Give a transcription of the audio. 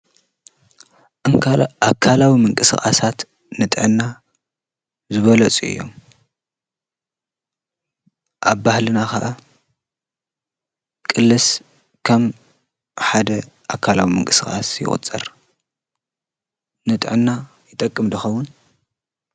እንካል ኣካላዊ ምንቂ ሥቓሳት ንጠና ዝበለፁ እዮም ኣብ ባህልና ኸዓ ቕልስ ከም ሓደ ኣካላዊ ምንክሥኻስ ይወጸር ንጠና ይጠቅምድኸዉን።